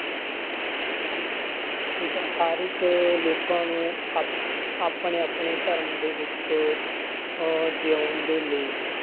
ਠੀਕ ਆ ਹਰ ਇੱਕ ਲੋਕਾਂ ਨੂੰ ਆਪ~ ਆਪਣੇ ਆਪਣੇ ਧਰਮ ਦੇ ਵਿੱਚ ਅਹ ਜਿਊਣ ਦੇ ਲਈ,